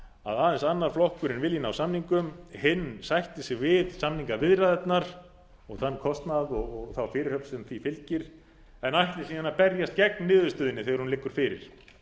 að aðeins annar flokkurinn vilji ná samningum hinn sætti sig við samningaviðræðurnar og þann kostnað og þá fyrirhöfn sem því fylgir en ætli síðan að berjast gegn niðurstöðunni þegar hún liggur fyrir